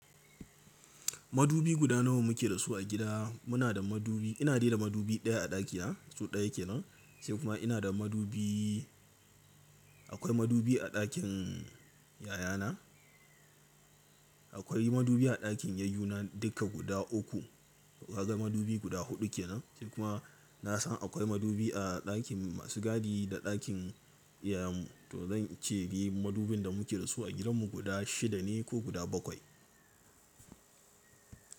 Madubi guda nawa muke da su a gida. Muna da madubi, ina dai madubi ɗaya a ɗakina, so ɗaya kenan. Sai kuma ina da madubi, akwai madubi a ɗakin yayana. Akwai madubi a ɗakin yayyuna dukka guda uku. Kaga madubi guda huɗu kenan. Sai kuma na san akwai madubi a ɗakin masu gadi da ɗakin iyayen mu. To zan ce ni madubin da muke da su a gidan mu guda shida ne ko guda bakwai.